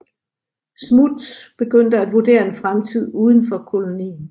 Smuts begyndte at vurdere en fremtid udenfor kolonien